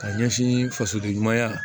Ka ɲɛsin fasoden ɲumanya